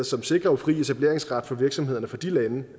som sikrer fri etableringsret for virksomhederne fra de lande